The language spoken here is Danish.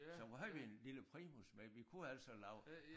Så havde vi en lille primus med vi kunne altså lave